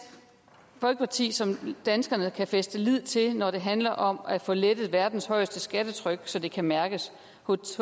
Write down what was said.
folkeparti som danskerne kan fæste lid til når det handler om at få lettet verdens højeste skattetryk så det kan mærkes